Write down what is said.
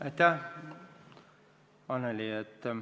Aitäh, Annely!